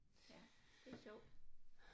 Ja det er sjovt